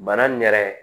Bana nin yɛrɛ